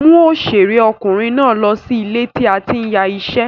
Mú òṣèré ọkùnrin náà lọ sí ilé tí a ti ń ya iṣẹ́.